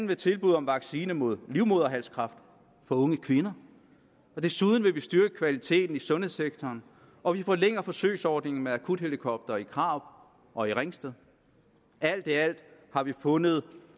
ved tilbud om vaccine mod livmoderhalskræft for unge kvinder desuden vil vi styrke kvaliteten i sundhedssektoren og vi forlænger forsøgsordningen med akuthelikoptere i karup og ringsted alt i alt har vi fundet